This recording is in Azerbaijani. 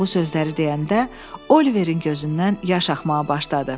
Bu sözləri deyəndə Oliverin gözündən yaş axmağa başladı.